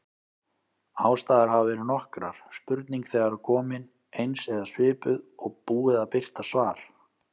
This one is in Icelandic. Ástæður hafa verið nokkrar: Spurning þegar komin, eins eða svipuð, og búið að birta svar.